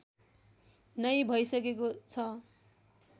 नै भइसकेको छ